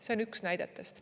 See on üks näidetest.